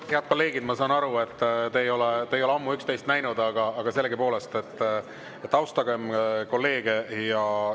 Head kolleegid, ma saan aru, et te ei ole ammu üksteist näinud, aga sellegipoolest, austagem kolleege!